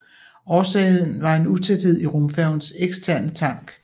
Årsagen var en utæthed i rumfærgens eksterne tank